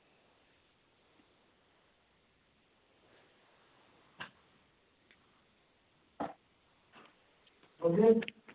,